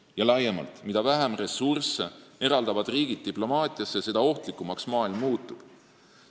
Ja laiemalt: mida vähem ressursse eraldavad riigid diplomaatiasse, seda ohtlikumaks maailm muutub.